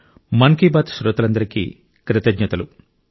మన్ కీ బాత్ శ్రోతలందరికీ కృతజ్ఞతలు